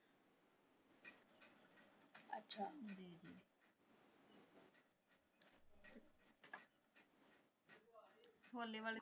ਹੋਲੇ ਵਾਲੇ।